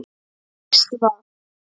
Næst var